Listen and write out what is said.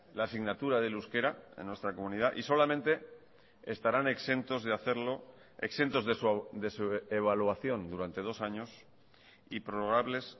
la asignatura del euskera en nuestra comunidad y solamente estarán exentos de hacerlo exentos de su evaluación durante dos años y prorrogables